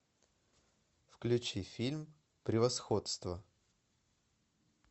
включи фильм превосходство